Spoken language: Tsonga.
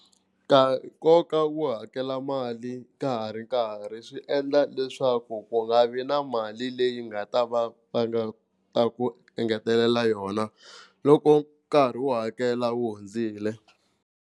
Nkoka wa ku hakela mali ka ha ri nkarhi swi endla leswaku ku nga vi na mali leyi nga ta va va nga ta ku engetelela yona loko nkarhi wo hakela wu hundzile.